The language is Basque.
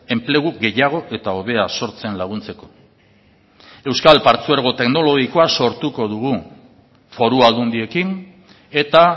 enplegu gehiago eta hobea sortzen laguntzeko euskal partzuergo teknologikoa sortuko dugu foru aldundiekin eta